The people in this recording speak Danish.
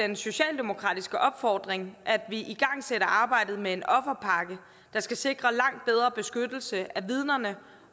den socialdemokratiske opfordring at vi igangsætter arbejdet med en offerpakke der skal sikre langt bedre beskyttelse af vidnerne